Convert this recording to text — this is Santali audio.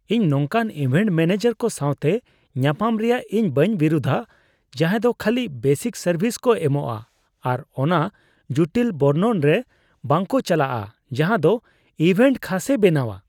ᱤᱧ ᱱᱚᱝᱠᱟᱱ ᱤᱵᱷᱮᱱᱴ ᱢᱟᱱᱮᱡᱟᱨ ᱠᱚ ᱥᱟᱶᱛᱮ ᱧᱟᱯᱟᱢ ᱨᱮᱭᱟᱜ ᱤᱧ ᱵᱤᱨᱩᱫᱷᱟ ᱡᱟᱦᱟᱸᱭ ᱫᱚ ᱠᱷᱟᱹᱞᱤ ᱵᱮᱥᱤᱠ ᱥᱟᱨᱵᱷᱤᱥ ᱠᱚ ᱮᱢᱚᱜᱼᱟ ᱟᱨ ᱚᱱᱟ ᱡᱩᱴᱤᱞ ᱵᱚᱨᱱᱚᱱ ᱨᱮ ᱵᱟᱝᱠᱚ ᱪᱟᱞᱟᱜᱼᱟ ᱡᱟᱦᱟᱸᱫᱚ ᱤᱵᱷᱮᱱᱴ ᱠᱷᱟᱥᱮ ᱵᱮᱱᱟᱣᱟ ᱾